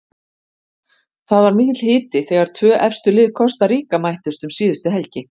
Það var mikill hiti þegar tvö efstu lið Kosta Ríka mættust um síðustu helgi.